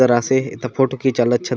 जरा से एथा फोटो खींचाले अच्छा लागे।